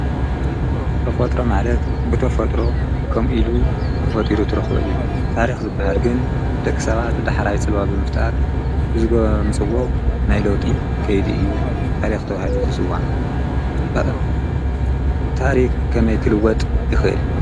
ተፈጥሮ ማለት ብተፈጥሮ ከምኡ ኢሉ ተፈጢሩ እትረክቦ እዩ ። ታሪክ ዝብሃል ግን ደቂ ሰባት ፅልዋ ብምፍጣር ዘምፅዎ ናይ ለውጢ ከይዲ እዩ ታሪክ ተባህሉ ዝፅዋዕ። ታሪክ ብከመይ ክልወጥ ይክእል?